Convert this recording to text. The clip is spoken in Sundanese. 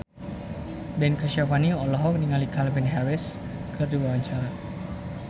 Ben Kasyafani olohok ningali Calvin Harris keur diwawancara